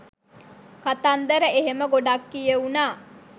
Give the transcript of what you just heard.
කතන්දර එහෙම ගොඩක් කියවුනා.